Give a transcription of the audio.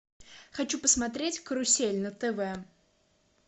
хочу посмотреть карусель на тв